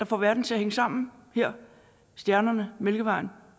får verden til at hænge sammen stjernerne mælkevejen